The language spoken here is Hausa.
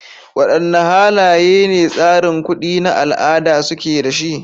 Wadanne halaye ne tsarin kuɗi na al'ada suke da shi?